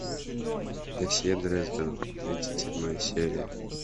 досье дрезден тридцать седьмая серия